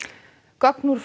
gögn úr